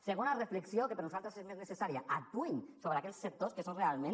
segona reflexió que per nosaltres és més necessària actuïn sobre aquells sectors que són realment